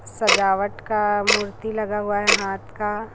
सजावट का मूर्ति लगा हुआ है हाथ का।